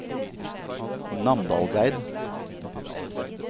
Namdalseid